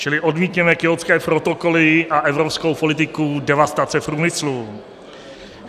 Čili odmítněme Kjótské protokoly a evropskou politiku devastace průmyslu.